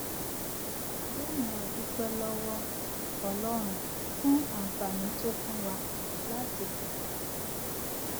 lónìí a dúpé lówó ọlórun fún àǹfààní tó fún wa láti padà sí ilè